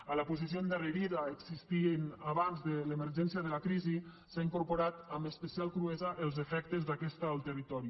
a la posició endarrerida existent abans de l’emergència de la crisi s’han incorporat amb especial cruesa els efectes d’aquesta al territori